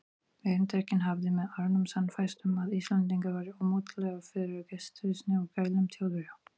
Erindrekinn hafði með árunum sannfærst um, að Íslendingar væru ómóttækilegir fyrir gestrisni og gælum Þjóðverja.